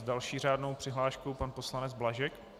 S další řádnou přihláškou pan poslanec Blažek.